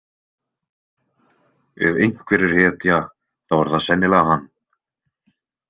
Ef einhver er hetja þá er það sennilega hann.